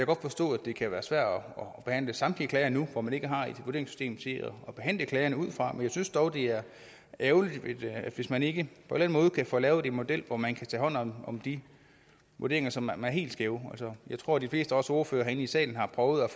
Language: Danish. godt forstå at det kan være svært at behandle samtlige klager nu hvor man ikke har et vurderingssystem at behandle klagerne ud fra men jeg synes dog det er ærgerligt hvis man ikke på den måde kan få lavet en model hvor man kan tage hånd om de vurderinger som er helt skæve jeg tror de fleste af os ordførere her i salen har prøvet